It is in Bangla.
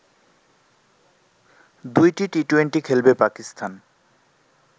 ২টি টি-টোয়েন্টি খেলবে পাকিস্তান